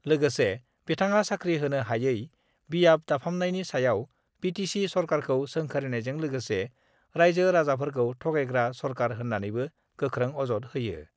लोगोसे बिथाङा साखरि होनो हायै, बियाब दाफामनायनि सायाव बि टि सि सरकारखौ सोंखारिनायजों लोगोसे राइजो-राजाफोरखौ थगायग्रा सरकार होन्नानैबो गोख्रों अजद होयो।